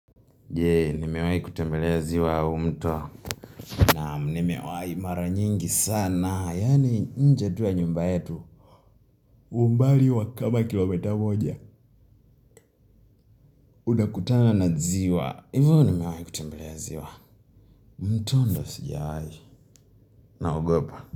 Jee, nimewai kutembelea ziwa au mto. Naam, nimewai mara nyingi sana. Yaani nje tu ya nyumba yetu umbali wa kama kilomita moja. Unakutana na ziwa. Hivyo nimewai kutembelea ziwa. Mto ndo sijawai. Naogopa.